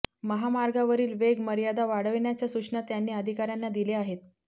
महामार्गावरील वेग मर्यादा वाढवण्याच्या सूचना त्यांनी अधिकाऱ्यांना दिल्या आहेत